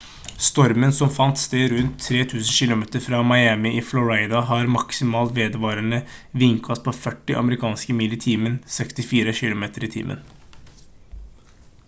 stormen som fant sted rundt 3 000 kilometer fra miami i florida har maksimal vedvarende vindkast på 40 amerikanske mil i timen 64 km/t